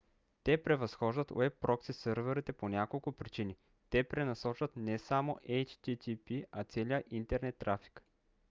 те превъзхождат уеб прокси сървърите по няколко причини: те пренасочват не само http а целия интернет трафик